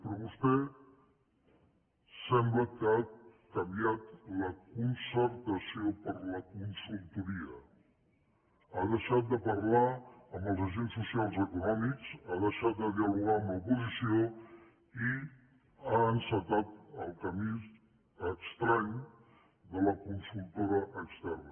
però vostè sembla que ha canviat la concertació per la consultoria ha deixat de parlar amb els agents socials i econòmics ha deixat de dialogar amb l’oposició i ha encetat el camí estrany de la consultora externa